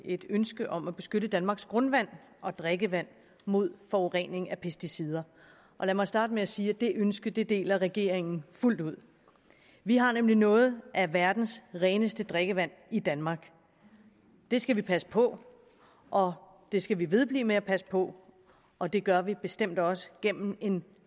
et ønske om at beskytte danmarks grundvand og drikkevand mod forurening med pesticider lad mig starte med at sige at det ønske deler regeringen fuldt ud vi har nemlig noget af verdens reneste drikkevand i danmark det skal vi passe på og det skal vi vedblive med at passe på og det gør vi bestemt også gennem en